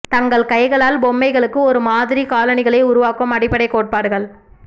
தங்கள் கைகளால் பொம்மைகளுக்கு ஒரு மாதிரி காலணிகளை உருவாக்கும் அடிப்படைக் கோட்பாடுகள்